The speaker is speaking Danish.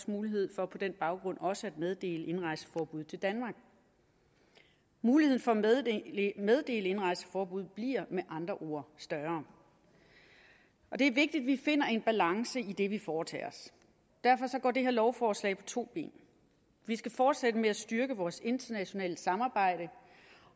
mulighed for på den baggrund også at meddele indrejseforbud til danmark muligheden for at meddele indrejseforbud bliver med andre ord større det er vigtigt at vi finder en balance i det vi foretager os derfor går det her lovforslag på to ben vi skal fortsætte med at styrke vores internationale samarbejde